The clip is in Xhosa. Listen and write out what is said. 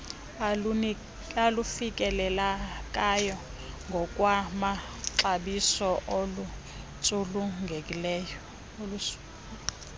olufikelelekayo ngokwamaxabiso oluntsulungeko